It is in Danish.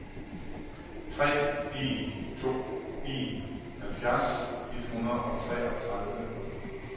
tre en to en halvfjerds et hundrede og treogtredive